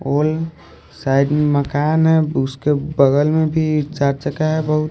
और साइड में मकान है उसके बगल में भी चार चका का है बहुत--